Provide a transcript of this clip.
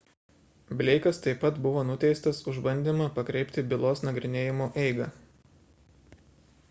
bleikas taip pat buvo nuteistas už bandymą pakreipti bylos nagrinėjimo eigą